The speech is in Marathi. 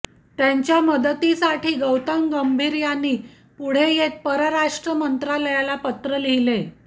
त्यांच्या मदतीसाठी गौतम गंभीर यांनी पुढे येत परराष्ट्र मंत्रालयाला पत्र लिहले